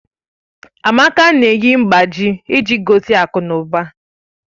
Amaka na-eyi mgbájí iji gosi akụnụba